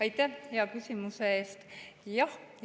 Aitäh hea küsimuse eest!